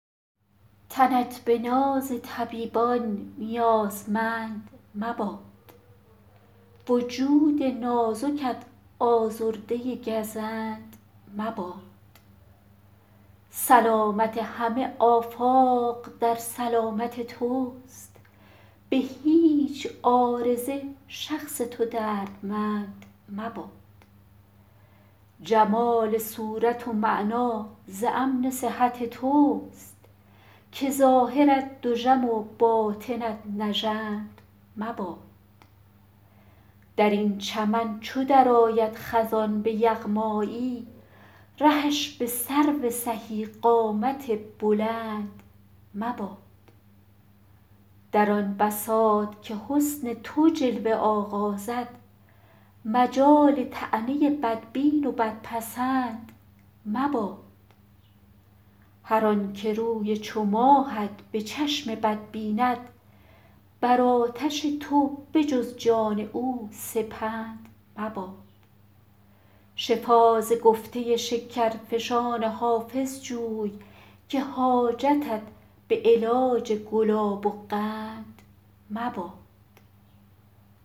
تنت به ناز طبیبان نیازمند مباد وجود نازکت آزرده گزند مباد سلامت همه آفاق در سلامت توست به هیچ عارضه شخص تو دردمند مباد جمال صورت و معنی ز امن صحت توست که ظاهرت دژم و باطنت نژند مباد در این چمن چو درآید خزان به یغمایی رهش به سرو سهی قامت بلند مباد در آن بساط که حسن تو جلوه آغازد مجال طعنه بدبین و بدپسند مباد هر آن که روی چو ماهت به چشم بد بیند بر آتش تو به جز جان او سپند مباد شفا ز گفته شکرفشان حافظ جوی که حاجتت به علاج گلاب و قند مباد